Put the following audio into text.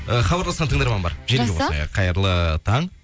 ы хабарласқан тыңдарман бар жақсы желіге қосайық қайырлы таң